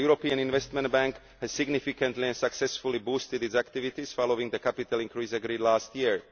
The European Investment Bank has significantly and successfully boosted its activities following the capital increase agreed last